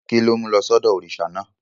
Kí ló mú lọ sọ́dọ̀ òrìṣà náà?